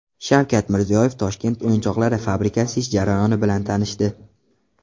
Shavkat Mirziyoyev Toshkent o‘yinchoqlari fabrikasi ish jarayoni bilan tanishdi .